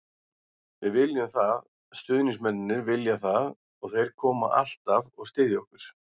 Við viljum það, stuðningsmennirnir vilja það og þeir koma alltaf og styðja okkur.